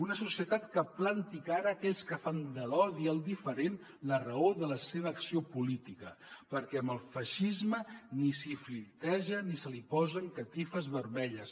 una societat que planti cara a aquells que fan de l’odi al diferent la raó de la seva acció política perquè amb el feixisme ni s’hi flirteja ni se li posen catifes vermelles